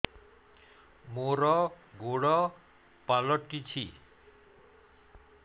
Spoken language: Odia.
ମୋର ଗୋଡ଼ ପାଲଟିଛି